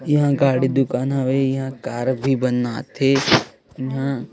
इहा गाड़ी दुकान हवय इहा कार भी बनाथे इहा --